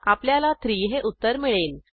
आपल्याला 3 हे उत्तर मिळेल